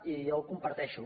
i jo ho comparteixo